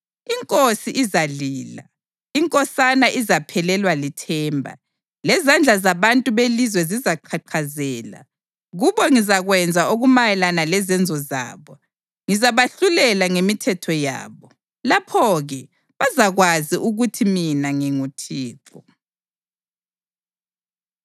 Inkosi izalila, inkosana izaphelelwa lithemba, lezandla zabantu belizwe zizaqhaqhazela. Kubo ngizakwenza okumayelana lezenzo zabo. Ngizabahlulela ngemithetho yabo. Lapho-ke bazakwazi ukuthi mina nginguThixo.’ ”